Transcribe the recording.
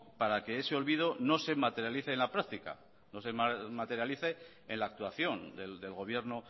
para que ese olvido no se materialice en la práctica no se materialice en la actuación del gobierno